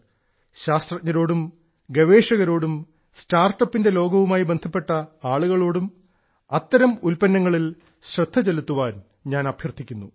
ശാസ്ത്രജ്ഞരോടും ഗവേഷകരോടും സ്റ്റാർട്ടപ്പിന്റെ ലോകവുമായി ബന്ധപ്പെട്ട ആളുകളോടും അത്തരം ഉൽപ്പന്നങ്ങളിൽ ശ്രദ്ധ ചെലുത്താൻ ഞാൻ അഭ്യർത്ഥിക്കുന്നു